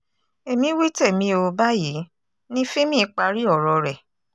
èmi wí tèmi o báyìí ní fímì parí ọ̀rọ̀ rẹ̀